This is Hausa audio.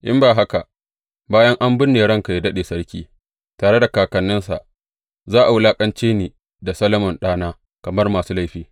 In ba haka, bayan an binne ranka yă daɗe sarki, tare da kakanninsa, za a wulaƙance ni da Solomon ɗana, kamar masu laifi.